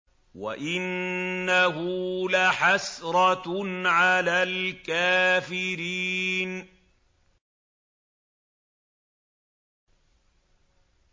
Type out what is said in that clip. وَإِنَّهُ لَحَسْرَةٌ عَلَى الْكَافِرِينَ